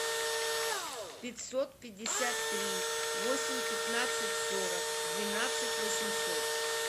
пятьсот пятьдесят три восемь пятнадцать сорок двенадцать восемьсот